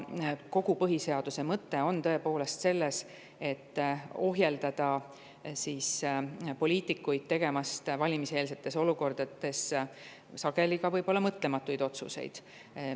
Kogu põhiseaduse mõte on tõepoolest selles, et ohjeldada poliitikuid tegemast valimiseelsetes olukordades ka võib-olla mõtlematuid otsuseid.